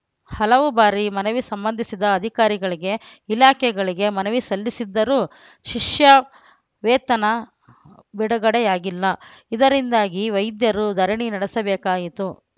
ಹಲವು ಬಾರಿ ಮನವಿ ಸಂಬಂಧಿಸಿದ ಅಧಿಕಾರಿಗಳಿಗೆ ಇಲಾಖೆಗಳಿಗೆ ಮನವಿ ಸಲ್ಲಿಸಿದ್ದರೂ ಶಿಷ್ಯ ವೇತನ ಬಿಡುಗಡೆಯಾಗಿಲ್ಲ ಇದರಿಂದಾಗಿ ವೈದ್ಯರು ಧರಣಿ ನಡೆಸಬೇಕಾಯಿತು